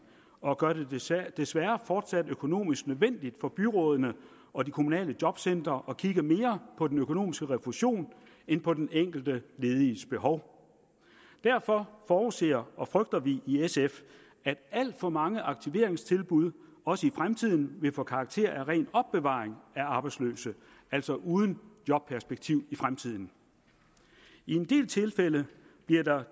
og gør det desværre desværre fortsat økonomisk nødvendigt for byrådene og de kommunale jobcentre at kigge mere på den økonomiske refusion end på den enkelte lediges behov derfor forudser og frygter vi i sf at alt for mange aktiveringstilbud også i fremtiden vil få karakter af ren opbevaring af arbejdsløse altså uden jobperspektiv i fremtiden i en del tilfælde bliver der